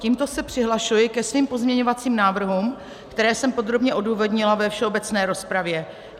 Tímto se přihlašuji ke svým pozměňovacím návrhům, které jsem podrobně odůvodnila ve všeobecné rozpravy.